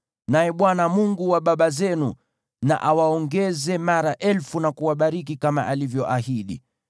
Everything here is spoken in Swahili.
Naye Bwana , Mungu wa baba zenu na awaongeze mara elfu na kuwabariki kama alivyoahidi!